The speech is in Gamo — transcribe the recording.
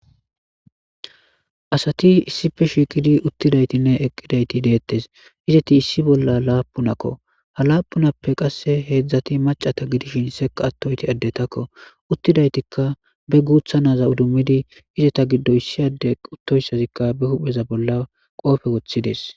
Asati issipe shiiqidi uttidaytinne eqqidayti deettes izeti issi bolla laapunakko ha laapunappe qasse heedzdzati macata gidishin seka attoyti eddetakko uttidaytikka be guuthanaza udummidi izeta giddo issi ade uttoyssazikka be hupheza bolla qoofe woththides.